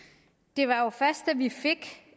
det var jo først da vi fik